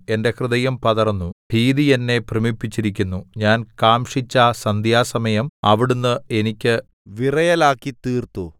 എന്റെ ഹൃദയം പതറുന്നു ഭീതി എന്നെ ഭ്രമിപ്പിച്ചിരിക്കുന്നു ഞാൻ കാംക്ഷിച്ച സന്ധ്യാസമയം അവിടുന്ന് എനിക്ക് വിറയലാക്കിത്തീർത്തു